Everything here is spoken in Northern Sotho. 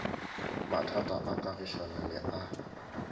mathata a kagišano le a